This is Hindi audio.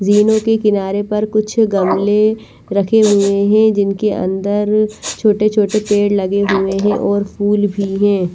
जीनो के किनारे पर कुछ गमले रखे हुए हैं जिनके अंदर छोटे छोटे पेड़ लगे हुए हैं और फूल भी हैं।